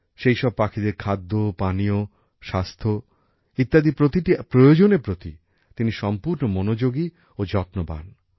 সেইসব পাখিদের খাদ্য পানীয় স্বাস্থ্য প্রতিটি প্রয়োজনের প্রতি তিনি সম্পূর্ণ মনোযোগী ও যত্নবান